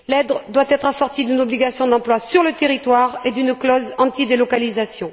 L'aide doit être assortie d'une obligation d'emploi sur le territoire et d'une clause anti délocalisation.